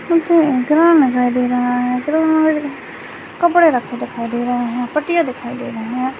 दे रहा हैकपड़े रखे दिखाई दे रहा है पाटिया देखे दे रहा है।